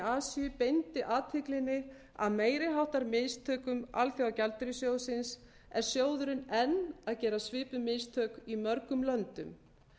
asíu beindi athyglinni að meiri háttar mistökum alþjóðagjaldeyrissjóðsins er sjóðurinn enn að gera svipuð mistök í mörgum löndum